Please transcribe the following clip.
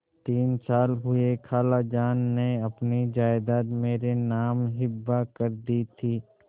तीन साल हुए खालाजान ने अपनी जायदाद मेरे नाम हिब्बा कर दी थी